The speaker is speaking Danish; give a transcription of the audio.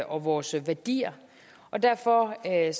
og vores værdier og derfor er jeg